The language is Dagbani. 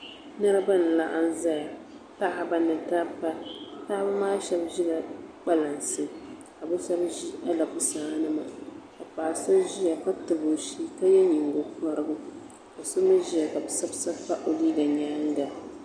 Niriba n laɣim ziya paɣaba ni dabba paɣaba maa shɛba zila kpalansi ka bi shɛba zi ala busaa nima ka paɣa so ziya ka tabi o shɛɛ ka ye yingo kɔrigu ma so mi ziya ka bi sabi sabi pa yɛanga zuɣu.